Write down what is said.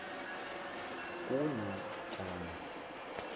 kunatana